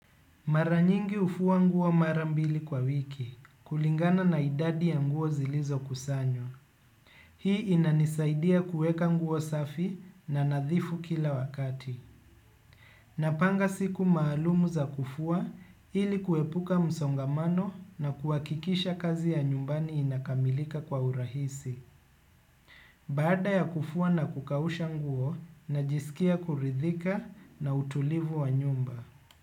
Mara nyingi hufua nguo mara mbili kwa wiki, kulingana na idadi ya nguo zilizo kusanywa. Hii inanisaidia kuweka nguo safi na nadhifu kila wakati. Napanga siku maalumu za kufua ili kuepuka msongamano na kuhakikisha kazi ya nyumbani inakamilika kwa urahisi. Baada ya kufua na kukausha nguo, najisikia kuridhika na utulivu wa nyumba.